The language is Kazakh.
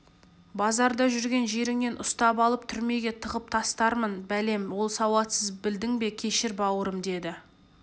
базарда жүрген жеріңнен ұстап алып түрмеге тығып тастармын бәлем ол сауатсыз білдің бе кешір бауырым деді